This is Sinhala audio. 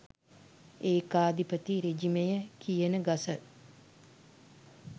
ඒකාධිපති රෙජිමය කියන ගස